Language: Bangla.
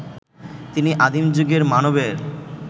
তিনি আদিম যুগের মানবের